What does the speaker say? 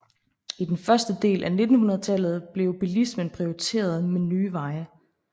I den første del af 1900 tallet blev bilismen prioriteret med nye veje